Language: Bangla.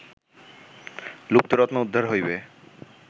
লুপ্ত রত্ন উদ্ধার হইবে